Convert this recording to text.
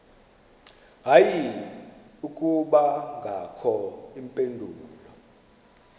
hayi akubangakho mpendulo